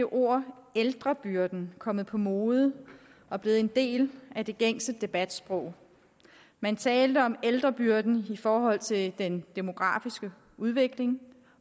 ord ældrebyrden kommet på mode og blevet en del af det gængse debatsprog man talte om ældrebyrden i forhold til den demografiske udvikling